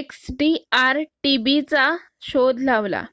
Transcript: XDR-TB शोध लावला